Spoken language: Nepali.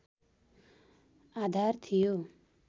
आधार थियो